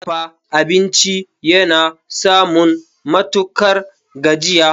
Dafa abinci yana samun matukar gajiya.